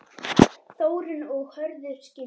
Þórunn og Hörður skildu.